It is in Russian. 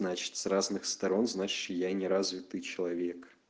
значит с разных сторон значит я не развитый человек